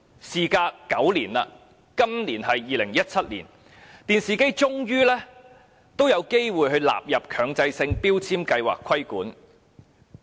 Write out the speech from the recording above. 事隔9年，今年是2017年，電視機終於有機會被納入規管。